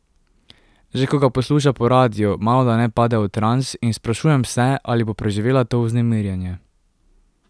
Že ko ga posluša po radiu, malodane pade v trans, in sprašujem se, ali bo preživela to vznemirjenje.